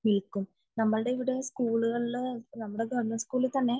മിൽക്കും നമ്മളെ ഇവിടെ സ്കൂളുകളിൽ നമ്മളെ ഗവണ്മെന്റ് സ്കൂളുകളിൽ തന്നെ